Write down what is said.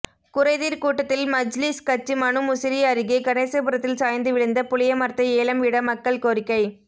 குறைதீர்கூட்டத்தில் மஜ்லிஸ் கட்சி மனு முசிறி அருகே கணேசபுரத்தில் சாய்ந்து விழுந்த புளியமரத்தை ஏலம்விட மக்கள் கோரிக்கை